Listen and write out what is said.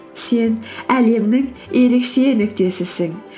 сен әлемнің ерекше нүктесісің